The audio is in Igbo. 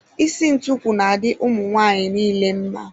Isi ntukwu na-adị ụmụ nwaanyị nile mma.